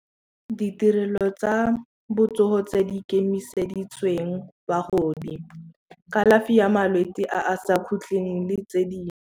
Ditirelo tsa botsogo tse di ke ikemiseditsweng bagodi kalafi ya malwetse a a sa khutling le tse di